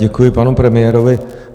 Děkuji panu premiérovi.